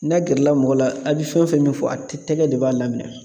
N'a gɛrɛla mɔgɔ la a bɛ fɛn fɛn min fɔ a tɛ tɛgɛ de b'a laminɛn.